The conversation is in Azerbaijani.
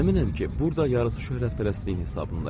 Əminəm ki, burda yarısı şöhrətpərəstliyin hesabında idi.